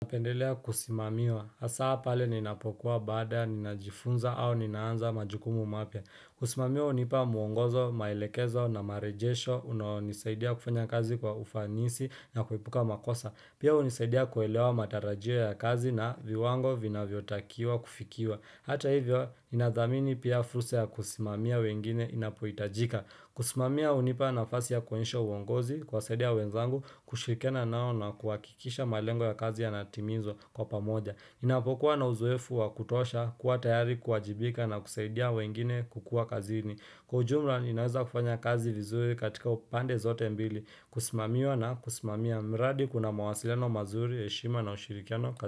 Napendelea kusimamiwa, hasa pale ninapokuwa baada, ninajifunza au ninaanza majukumu mapya Kusimamiwa unipa muongozo, maelekezo na marejesho, unaonisaidia kufanya kazi kwa ufanisi na kuepuka makosa Pia hunisaidia kuelewa matarajio ya kazi na viwango vinavyotakiwa kufikiwa Hata hivyo, inadhamini pia fursa ya kusimamia wengine inapohitajika kusimamia hunipa nafasi ya kuonyesha uongozi kuwasadia wenzangu kushirikiana nao na kuakikisha malengo ya kazi ya yanatimizwa kwa pamoja Inapokuwa na uzoefu wa kutosha kuwa tayari kuajibika na kusaidia wengine kukua kazini Kwa ujumla inaweza kufanya kazi lizuwe katika upande zote mbili Kusimamiwa na kusimamiya mradi kuna mawasiliano mazuri, heshima na ushirikiano kazi.